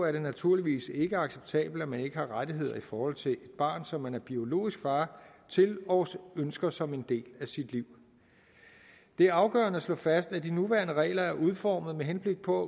er det naturligvis ikke acceptabelt at man ikke har rettigheder i forhold til et barn som man er biologisk far til og ønsker som en del af sit liv det er afgørende at slå fast at de nuværende regler er udformet med henblik på